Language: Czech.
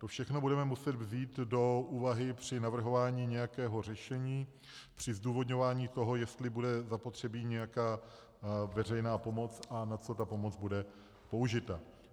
To všechno budeme muset vzít do úvahy při navrhování nějakého řešení, při zdůvodňování toho, jestli bude zapotřebí nějaká veřejná pomoc a na co ta pomoc bude použita.